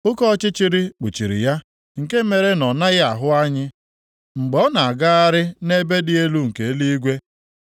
Oke ọchịchịrị kpuchiri ya, nke mere na ọ naghị ahụ anyị mgbe ọ na-agagharị nʼebe dị elu nke eluigwe.’